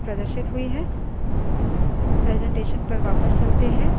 अब सिर्फ पहली पाँच lines प्रदर्शित हुई हैं